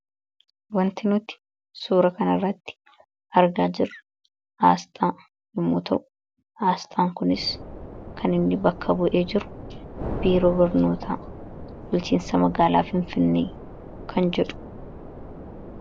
Wanti nuti suuraa kana irratti argaa jiruu kun Asxaa yommuu ta'u, Asxaan kunis kan inni bakka bu'ee jiru 'Biroo Bulchiinsaa Magaalaa Finfinnee kan jedhu.